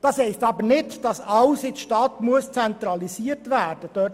Das heisst aber nicht, dass alles in der Stadt zentralisiert werden muss.